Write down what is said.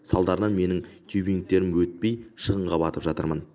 салдарынан менің тюбингтерім өтпей шығынға батып жатырмын